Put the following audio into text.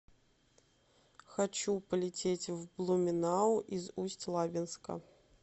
хочу полететь в блуменау из усть лабинска